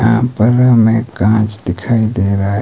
यहां पर हमे कांच दिखाई दे रहा है।